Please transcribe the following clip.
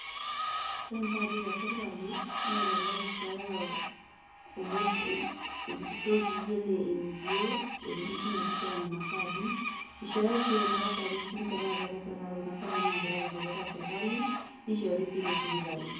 Ore mpaadi te serkali naa elelek eishooyo irkutot laijo le NGOs etumi sii ninye eishooyo nena paadi, eishooyo sii kuna tasati sii ninje kuna sapuki naati atua serkali kuna naagira aarikisho tiatua serkali neishhori sii te sipitali.